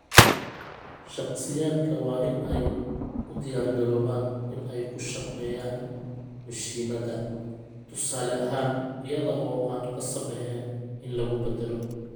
Shakhsiyaadka waa in ay u diyaar garoobaan in ay ku shaqeeyaan mishiinada, tusaale ahaan, iyada oo aan qasab ahayn in lagu badalo.